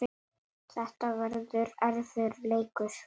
Þetta verður erfiður leikur.